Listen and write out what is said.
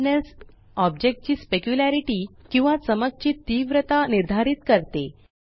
hardness ओब्जेक्टची specularity किंवा चमक ची तीव्रता निर्धारित करते